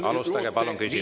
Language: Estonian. Alustage palun küsimusest.